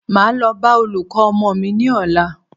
Máa lọ bá olùkọ́ ọmọ mí ní ọ̀la.